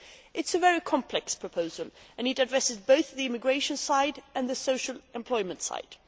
It is a very complex proposal and it addresses both the immigration side and the social employment side.